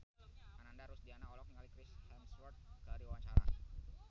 Ananda Rusdiana olohok ningali Chris Hemsworth keur diwawancara